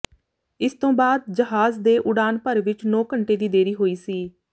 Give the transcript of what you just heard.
ਇਸ ਤੋਂ ਬਾਅਦ ਜਹਾਜ਼ ਦੇ ਉਡਾਨ ਭਰ ਵਿਚ ਨੌਂ ਘੰਟੇ ਦੀ ਦੇਰੀ ਹੋਈ ਸੀ